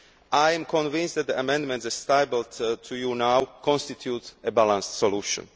opposed. I am convinced that the amendments, as tabled to you now, constitute a balanced solution.